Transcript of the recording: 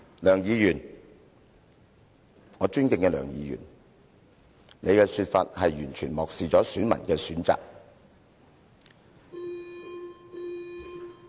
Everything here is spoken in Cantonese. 梁議員，我尊敬的梁議員，你的說法完全漠視選民的選擇。